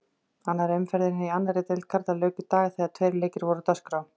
Annarri umferðinni í annarri deild karla lauk í dag þegar tveir leikir voru á dagskrá.